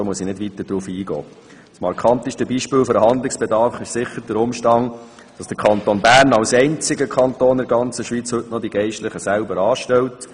Das markanteste Beispiel für den Handlungsbedarf ist sicher der Umstand, dass der Kanton Bern als einziger Kanton in der ganzen Schweiz heute noch die Geistlichen selber anstellt.